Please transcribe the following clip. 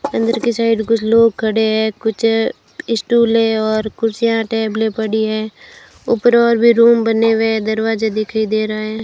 अंदर के साइड कुछ लोग खड़े हैं कुछ स्टूलें और कुर्सियां टेबलें पड़ी हैं ऊपर और भी रूम बने हुए हैं दरवाजे दिखाई दे रहा है।